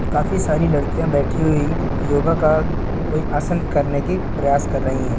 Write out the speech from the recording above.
काफी सारी लड़कियाँ बैठी हुई योगा का कोई आसन करने की प्रयास कर रही है।